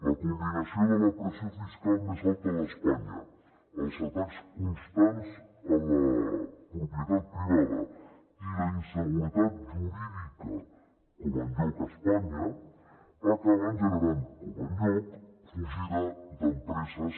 la combinació de la pressió fiscal més alta d’espanya els atacs constants a la propietat privada i la inseguretat jurídica com enlloc a espanya acaben generant com enlloc fugida d’empreses